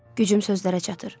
Gücüm sözlərə çatır.